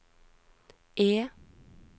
E